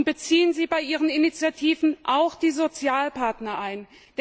Und beziehen Sie bei Ihren Initiativen auch die Sozialpartner ein.